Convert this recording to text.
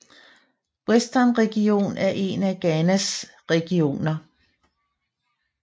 Western Region er en af Ghanas regioner